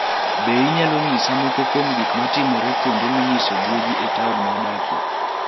Be inyalo nyisa moko kuom gik matimore kuonde minyisoe guogi e taon ma adakie?